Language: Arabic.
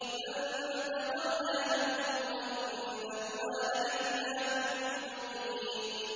فَانتَقَمْنَا مِنْهُمْ وَإِنَّهُمَا لَبِإِمَامٍ مُّبِينٍ